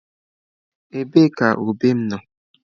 Ebee ka ube m nọ?